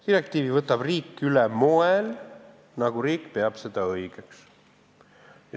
Direktiivi võtab riik üle moel, nagu riik peab seda õigeks.